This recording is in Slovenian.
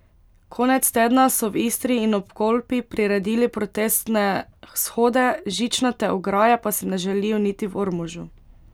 Konec tedna so v Istri in ob Kolpi priredili protestne shode, žičnate ograje pa si ne želijo niti v Ormožu.